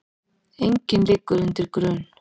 Enginn liggur undir grun